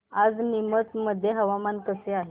आज नीमच मध्ये हवामान कसे आहे